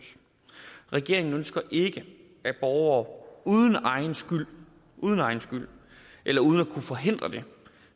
regeringen ønsker ikke at borgere uden egen skyld uden egen skyld eller uden at kunne forhindre det